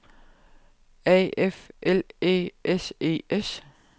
A F L Æ S E S